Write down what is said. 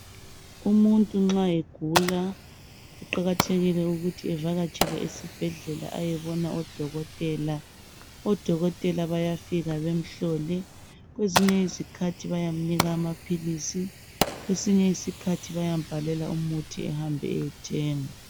Umuntu nxa egula kuqakathekile ukuthi evakatshele ezibhedlela ayebona odokotela. Odokotela bayafika bemhlole kwezinye izikhathi bayamnika amaphilisi kwesinye isikhathi bayambhalela umuthi ehambe ayethenga.